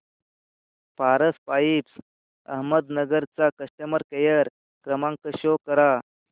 Paras pipes Ahmednagar चा customer care क्रमांक show करा